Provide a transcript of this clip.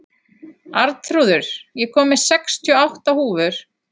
Arnþrúður, ég kom með sextíu og átta húfur!